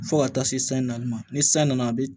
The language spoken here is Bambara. Fo ka taa se san naani ma ni san nana a bi